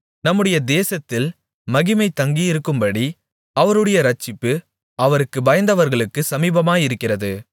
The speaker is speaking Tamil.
நம்முடைய தேசத்தில் மகிமை தங்கியிருக்கும்படி அவருடைய இரட்சிப்பு அவருக்குப் பயந்தவர்களுக்குச் சமீபமாயிருக்கிறது